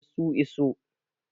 eh su iso